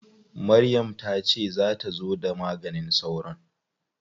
Maryam ta ce za ta zo da maganin sauron?